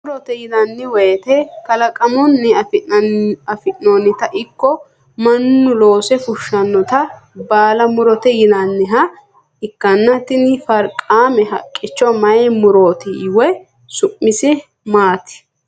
murote yinanni wote kalaqamunni afantinota ikko mannu loose fushshinota baala murote yinanniha ikkana, tini farqaame haqqicho mayi murooti woyi su'mise maati?